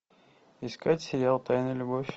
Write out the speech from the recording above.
искать сериал тайная любовь